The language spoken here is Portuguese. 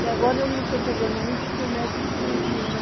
E agora eu não estou pegando muito porque o médico proibiu, né?